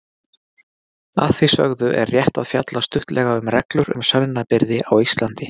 Að því sögðu er rétt að fjalla stuttlega um reglur um sönnunarbyrði á Íslandi.